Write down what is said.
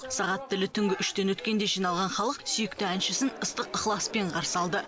сағат тілі түнгі үштен өткенде жиналған халық сүйікті әншісін ыстық ықыласпен қарсы алды